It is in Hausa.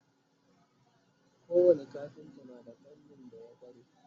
ko wani kafinta na da fannin da ya kware